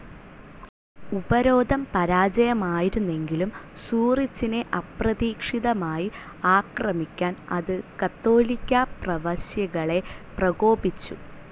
ഉപരോധം പരാജയമായിരുന്നെങ്കിലും സൂറിച്ചിനെ അപ്രതീക്ഷിതമായി ആക്രമിക്കാൻ അത് കത്തോലിക്കാ പ്രവശ്യകളെ പ്രകോപിച്ചു.